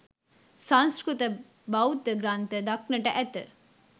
සංස්කෘත බෞද්ධ ග්‍රන්ථ දක්නට ඇත.